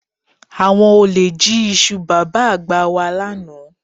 Àwọn olè jí iṣu Bàbá-àgbà wà lánàá